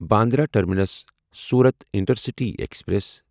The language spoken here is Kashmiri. Bandra terminus Surat intercity express